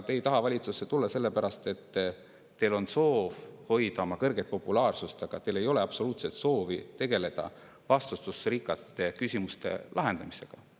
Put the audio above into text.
Te ei taha valitsusse tulla sellepärast, et teil on soov hoida oma kõrget populaarsust, aga teil ei ole absoluutselt soovi tegeleda vastutusrikaste küsimuste lahendamisega.